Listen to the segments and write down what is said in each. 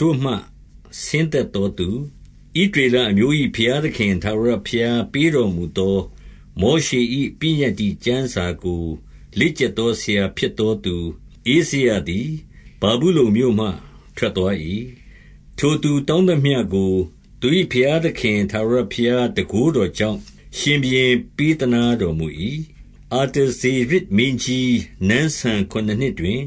တို့မှ ဆင်းသက်သောသူ၊ 6 ဣသရေလအမျိုး၏ ဘုရားသခင် ထာဝရ ဘုရားပေးတော်မူသော မောရှေ၏ပညတ္တိကျမ်းစာကို လေ့ကျက်သောစရာဖြစ်သော သူဧဇရသည် ဗာဗုလုန်မြို့ မှ ထွက်သွား၏။ ထိုသူတောင်းသမျှကို သူ၏ဘုရားသခင် ထာဝရဘုရားတန်ခိုးတော်ကြောင့် ရှင်ဘုရင် ပေးသနား တော်မူ၏။ 7 အာတဇေရဇ်မင်းကြီး နန်းစံခုနစ်နှစ်တွင်၊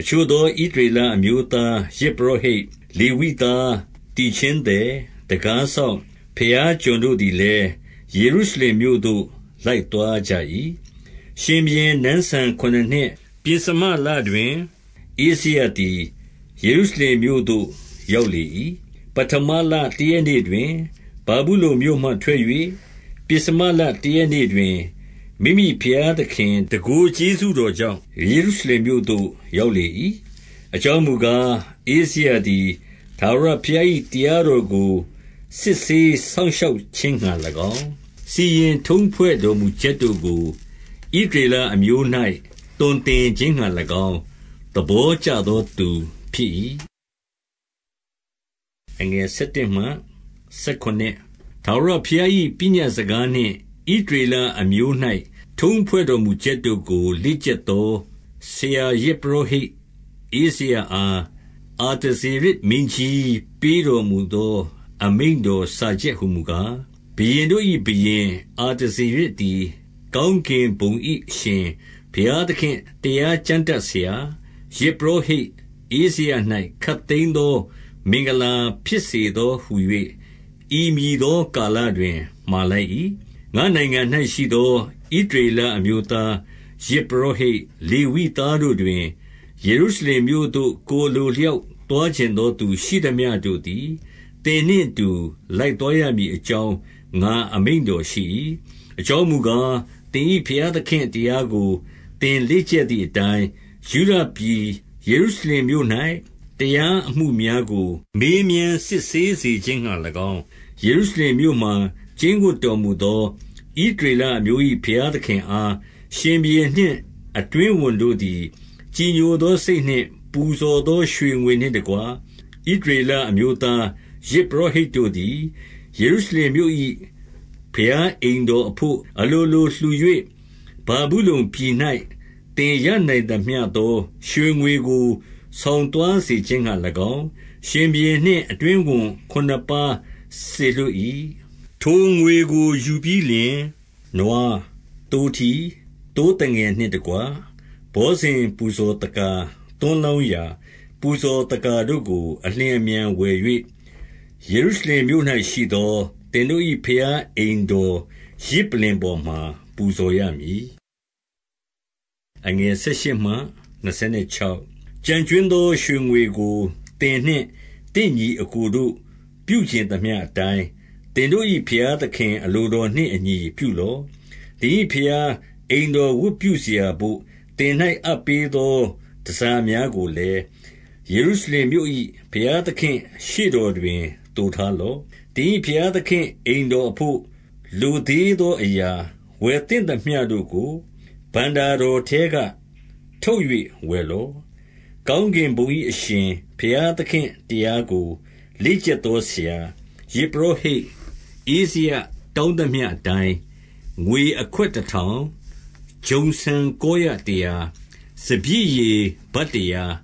အချို့ သော ဣသရေလအမျိုးသား ယဇ်ပုရောဟိတ်၊ လေဝိ သား၊ သီချင်းသည်၊ တံခါးစောင့်၊ ဘုရားကျွန်တို့သည် လည်း၊ ယေရုရှလင်မြို့သို့ လိုက်သွားကြ၏။ 8 ရှင်ဘုရင် နန်းစံခုနစ်နှစ်၊ ပဥ္စမလတွင် ဧဇရ သည် ယေရုရှလင်မြို့သို့ ရောက်လေ၏။ 9 ပဌမလတရက်နေ့တွင်၊ ဗာဗုလုန်မြို့မှထွက်၍၊ ပဥ္စမလတရက်နေ့တွင်၊ မိမိဘုရားသခင် တန်ခိုးကျေးဇူး တော်ကြောင့်၊ ယေရုရှလင်မြို့သို့ရောက်လေ၏။ 10 အကြောင်းမူကား၊ ဧဇရသည် ထာဝရဘုရား ၏ တရားတော်ကို စစ်ဆေးစောင့်ရှောက်ခြင်းငှါ၎င်း၊ စီရင်ထုံးဖွဲ့တော်မူချက်တို့ကို ဣသရေလအမျိုး၌ သွန်သင် ခြင်းငှါ၎င်း သဘောကျသောသူဖြစ်၏။ 11 ထာဝရဘုရား၏ပညတ်စကားနှင့် ဣသရေလ အမျိုး၌ ထုံးဖွဲ့တော်မူချက်တို့ကို လေ့ကျက်သော ဆရာ ယဇ်ပုရောဟိတ် ဧဇရအား၊ အာတဇေရဇ်မင်းကြီး ပေးတော်မူသော အမိန့်တော်စာချက်ဟူမူကား၊ 12 ဘုရင်တို့၏ဘုရင်အာတဇေရဇ်သည် ကောင်း ကင်ဘုံ၏ အရှင်ဘုရားသခင့် တရားကျမ်းတတ်ဆရာ၊ ယဇ်ပုရောဟိတ်ဧဇရ၌ခပ်သိမ်းသော မင်္ဂလာဖြစ်စေ သောဟူ၍ ဤမည်သောကာလတွင် မှာလိုက်၏။ 13 ငါ့နိုင်ငံ၌ရှိသော ဣသရေလအမျိုးသား၊ ယဇ် ပုရောဟိတ်၊ လေဝိသားတို့တွင် ယေရုရှလင်မြို့သို့ ကိုယ် အလိုအလျောက်သွားချင်သော သူရှိသမျှတို့သည် သင်နှင့် အတူ လိုက်သွားရမည်အကြောင်း ငါအမိန့်တော်ရှိ၏။ 14 အကြောင်းမူကား၊ သင်၏ဘုရားသခင့်တရားကို သင်လေ့ကျက်သည်အတိုင်း၊ ယုဒပြည်ယေရုရှလင်မြို့၌ တရားအမှုများကို မေးမြန်းစစ်ဆေးစေခြင်းငှါ၎င်း၊ 15 ယေရုရှလင်မြို့မှာ ကျိန်းဝပ်တော်မူသော ဣသ ရေလအမျိုး၏ ဘုရားသခင်အား၊ ရှင်ဘုရင်နှင့် အတွင်း ဝန်တို့သည် ကြည်ညိုသောစိတ်နှင့် ပူဇော်သောရွှေငွေနှင့် တကွ၊ 16 ဣသရေလအမျိုးသား၊ ယဇ်ပုရောဟိတ်တို့သည် ယေရုရှလင်မြို့၏ဘုရားအိမ်တော်အဘို့ အလိုလိုလှူ၍ ဗာဗုလုန်ပြည်၌ သင်ရနိုင်သမျှသော ရွှေငွေကို ဆောင် သွားစေခြင်းငှါ၎င်း၊ ရှင်ဘုရင်နှင့် အတွင်းဝန်ခုနစ်ပါး စေလွှတ်၏။ 17 ထိုငွေကိုယူပြီးလျှင်နွား၊ သိုးထီး၊ သိုးသငယ်နှင့် တကွ၊ ဘောဇဉ်ပူဇော်သက္ကာ၊ သွန်းလောင်းရာပူဇော်သက္ကာတို့ကို အလျင်အမြန်ဝယ်၍၊ ယေရုရှလင်မြို့၌ရှိသော သင်တို့၏ ဘုရားအိမ်တော် ယဇ် ပလ္လင်ပေါ်မှာ ပူဇော်ရမည်။ 18 ကျန်ကြွင်းသော ရွှေငွေကို သင်နှင့်သင့်ညီ အစ်ကိုတို့ ပြုချင်သမျှအတိုင်း၊ သင်တို့၏ ဘုရားသခင် အလိုတော်နှင့်အညီပြုလော့။ 19 သင်၏ဘုရား အိမ်တော်ဝတ်ပြုစရာဘို့ သင်၌ အပ်ပေးသော တန်ဆာများကိုလည်း၊ ယေရုရှလင်မြို့၏ ဘုရားသခင့်ရှေ့တော်တွင် သိုထားလော့။ 20 သင်၏ဘုရားသခင့် အိမ်တော်အဘို့ လိုသေး သောအရာ၊ ဝယ်သင့်သမျှတို့ကို ဘဏ္ဍာတော်ထဲက ထုတ်၍ဝယ်လော့။ 21 ကောင်းကင်ဘုံ၏ အရှင်ဘုရားသခင့် တရားကို လေ့ကျက်သော ဆရာ၊ ယဇ်ပုရောဟိတ်ဧဇရတောင်းသမျှ အတိုင်း၊ 22 ငွေအခွက်တထောင်၊ ဂျုံဆန်ကောရတရာ၊ စပျစ်ရည်ဗတ်တရာ၊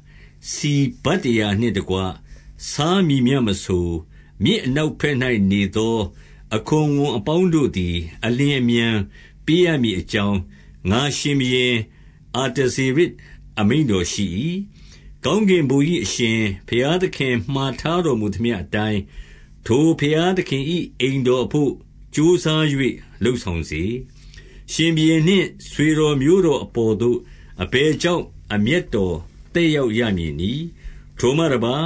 ဆီဗတ်တရာနှင့်တကွ ဆားမည်မျှ မဆို၊ မြစ်အနောက်ဘက်၌နေသော အခွန်ဝန်အပေါင်းတို့ သည် အလျင်အမြန်ပေးရမည်အကြောင်း၊ ငါရှင်ဘုရင် အာတဇေရဇ်အမိန့်တော်ရှိ၏။ 23 ကောင်းကင်ဘုံ၏ အရှင်ဘုရားသခင်မှာ ထားတော်မူသမျှအတိုင်း၊ ထိုဘုရားသခင်၏ အိမ်တော် အဘို့ ကြိုးစား၍လုပ်ဆောင်စေ။ ရှင်ဘုရင်နှင့် ဆွေတော်မျိုးတော်အပေါ်သို့ အဘယ်ကြောင့် အမျက် တော် သက်ရောက်ရမည်နည်း။ 24 ထိုမှတပါး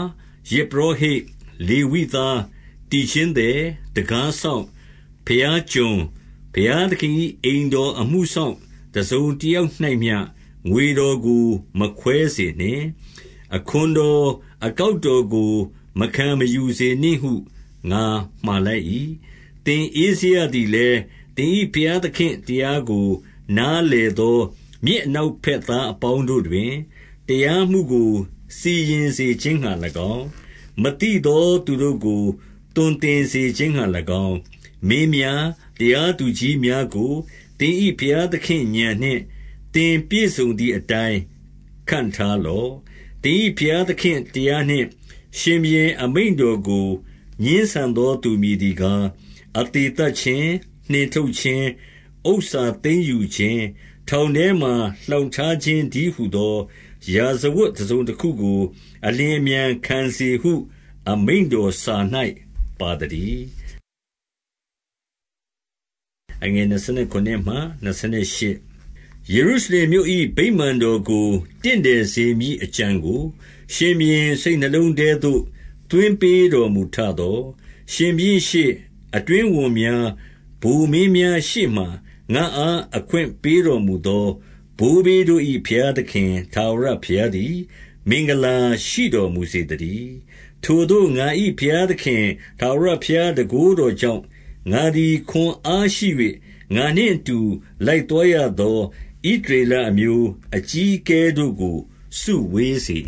၊ ယဇ်ပုရောဟိတ် လေဝိသား၊ သီချင်း သည်၊ တံခါး စောင့်၊ ဘုရားကျွန်၊ ဘုရားသခင်၏ အိမ်တော်အမှုစောင့် တစုံတယောက်၌ မျှငွေတော်ကို မခွဲစေနှင့်။ အခွန်တော်အကောက်တော်ကို မခံမယူစေနှင့် ဟုငါမှာလိုက်၏။ 25 သင်ဧဇရသည်လည်း၊ သင်၏ဘုရားသခင် တရားကို နားလည်သော၊ မြစ်အနောက်ဘက်သား အပေါင်းတို့တွင်၊ တရားမှုကို စီရင်စေခြင်းငှါ၎င်း၊ မသိသောသူတို့ကို သွန်သင်ခြင်းငှာ၎င်း၊ မင်း များ၊ တရားသူကြီးများကို သင်၏ဘုရားသင့် ဥာဏ်နှင့် သင်ပြည့်စုံသည်အတိုင်း ခန့်ထားလော့။ 26 သင်၏ဘုရားသခင့်တရားနှင့် ရှင်ဘုရင်အမိန့် တော်ကို ငြင်းဆန်သောသူ မည်သည်ကား၊ အသေသတ် ခြင်း၊ နှင်ထုတ်ခြင်း၊ ဥစ္စာသိမ်းယူခြင်း၊ ထောင်ထဲမှာ လှောင်ထားခြင်းတည်းဟူသော ရာဇဝတ်တစုံတခုကို အလျင် အမြန်ခံစေဟု အမိန့်တော်စာ၌ပါသတည်း။ 27 ယေရုရှလင်မြို့၏ ဗိမာန်တော်ကို တင့်တယ် စေမည်အကြံကို ရှင်ဘုရင်စိတ်နှလုံးထဲသို့ သွင်းပေးတော်မူထသော၊ ရှင်ဘုရင်ရှေ့၊ အတွင်းဝန်များ၊ ဗိုလ်မင်များရှေ့မှာ ငါ့အား အခွင့်ပေးတော်မူသော ဘိုးဘေးတို့၏ ဘုရားသခင် ထာဝရဘုရားသည် မင်္ဂလာရှိ တော်မူစေသတည်း။ 28 ထိုသို့ ငါ၏ဘုရားသခင် ထားဝရဘုရား ဘုန်း တော်ကြောင့်၊ ငါသည် ခွန်အားရှိ၍ ငါနှင့်အတူ လိုက် သွားရသော ဣသရေလအမျိုး အကြီးအကဲတို့ကို စုဝေး စေ